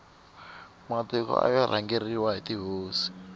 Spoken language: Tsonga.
matiko aya rhangeriwa hi tihosi